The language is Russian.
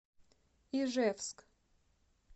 ижевск